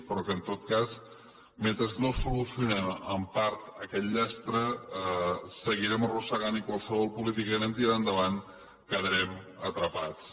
però que en tot cas mentre no solucionem en part aquest llastre seguirem arrossegant i en qualsevol política que anem tirant endavant hi quedarem atrapats